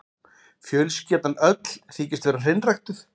Fjölskyldan öll þykist vera hreinræktuð.